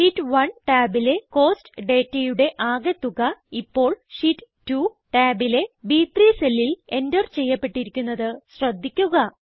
sheet 1 ടാബിലെ cost ഡേറ്റയുടെ ആകെ തുക ഇപ്പോൾ ഷീറ്റ് 2 ടാബിലെ ബ്3 സെല്ലിൽ എന്റർ ചെയ്യപ്പെട്ടിരിക്കുന്നത് ശ്രദ്ധിക്കുക